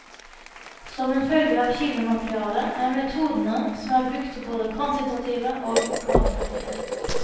Som en følge av kildematerialet er metodene som er brukt både kvantitative og kvalitative.